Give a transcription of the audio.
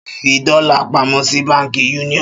Ṣọlá yóò fi dọ́là pamọ́ sí Báńkì Union.